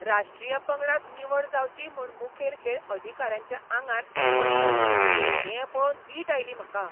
राश्ट्रीय पंगडांत निवड जावची म्हूण मुखेल खेळ अधिकाऱ्यांच्या आंगार पडटात, तें पळोवन वीट आयली म्हाका.